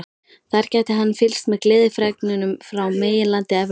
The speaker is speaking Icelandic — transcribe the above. Þar gæti hann fylgst með gleðifregnunum frá meginlandi Evrópu.